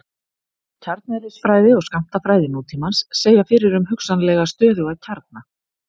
Kjarneðlisfræði og skammtafræði nútímans segja fyrir um hugsanlega stöðuga kjarna.